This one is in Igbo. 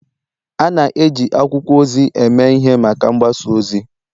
A na-eji akwụkwọ ozi eme ihe maka mgbasa ozi